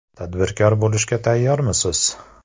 Tadbirkor bo‘lishga tayyormisiz?.